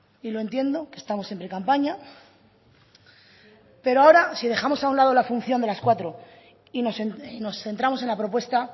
y lo entiendo que estamos en precampaña pero ahora si dejamos a un lado la función de las cuatro y nos centramos en la propuesta